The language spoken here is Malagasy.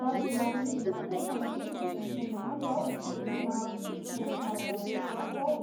Maro dia maro mihitsy ny olona sahy miteny hoe tsy mahay mahandro aho na koa tsy mahay mikarakara sakafo aho.